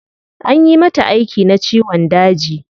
Anyi mata aiki na ciwon daji